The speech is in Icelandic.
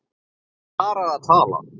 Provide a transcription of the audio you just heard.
Bara að tala.